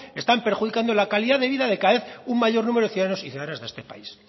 están perjudicando la calidad de vida de cada vez un mayor número de ciudadanos y ciudadanas de este país